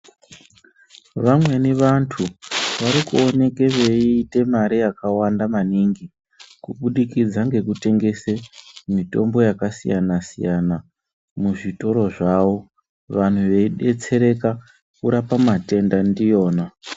Vamweni vantu vari kuoneke veiite mare yakawanda maningi kubudikidza ngekutengese mitombo yakasiyana siyana muzvitoro zvavo vanhu veidetsereka kurape matenda ndiyona.